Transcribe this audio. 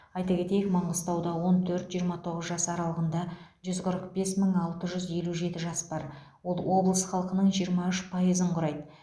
айта кетейік маңғыстауда он төрт жиырма тоғыз жас аралығында жүз қырық бес мың алты жүз елу жеті жас бар ол облыс халқының жиырма үш пайызын құрайды